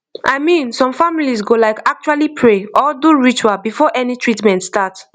i mean some families go like actually pray or do ritual before any treatment start